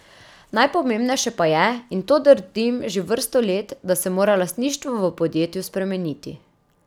Najpomembnejše pa je, in to trdim že vrsto let, da se mora lastništvo v podjetju spremeniti.